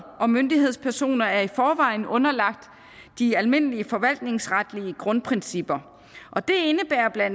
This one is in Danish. og myndighedspersoner er i forvejen underlagt de almindelige forvaltningsretlige grundprincipper og det indebærer bla